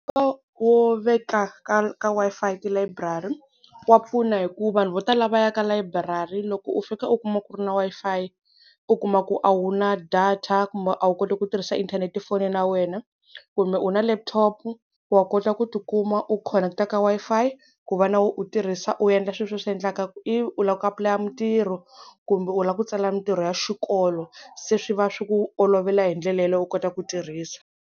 Nkoka wo veka ka, ka Wi-Fi tilayiburari wa pfuna hi ku vanhu vo tala va ya ka layiburari loko u fika u kuma ku ri na Wi-Fi u kuma ku a wu na data kumbe a wu koti ku tirhisa inthanete fonini ya wena kumbe u na laptop wa kota ku tikuma u khoneketa ka Wi-Fi, ku va na wena u tirhisa u endla sweswi u swi endlaka ivi u lava ku apulaya mintirho kumbe u lava ku tsala mintirho ya xikolo se swi va swi ku olovela hi ndlela yeleyo u kota ku tirhisa.